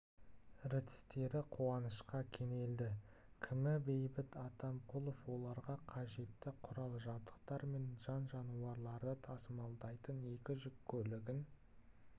ртістері қуанышқа кенелді кімі бейбіт атамқұлов оларға қажетті құрал-жабдықтар мен жан-жануарларды тасымалдайтын екі жүк көлігін